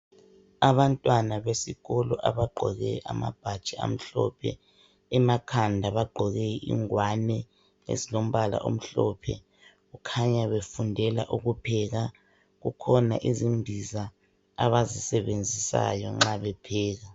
Abantwana besikolo abagqoke amabhatshi amhlophe, emakhanda bagqoke ingwane ezilombala omhlophe kukhanya befundela ukupheka kukhona izimbiza abazisebenzisayo nxa bepheka.